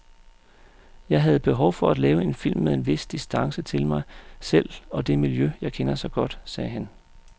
Jeg havde behov for at lave en film med en vis distance til mig selv og det miljø, jeg kender så godt, sagde han.